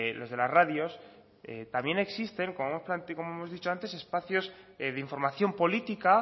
los de las radios también existen como hemos dicho antes espacios de información política